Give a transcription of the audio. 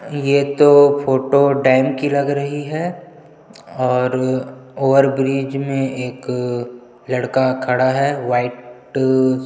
ये तो photo dam की लग रही है और ओवर ब्रिज में एक लड़का खड़ा है वाइट --